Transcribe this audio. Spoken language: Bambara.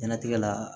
Ɲɛnatigɛ la